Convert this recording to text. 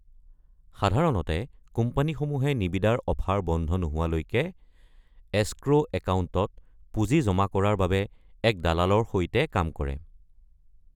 সাধাৰণতে, কোম্পানীসমূহে নিবিদাৰ অফাৰ বন্ধ নোহোৱালৈকে এচক্ৰ’ একাউণ্টত পুঁজি জমা কৰাৰ বাবে এক দালালৰ সৈতে কাম কৰে।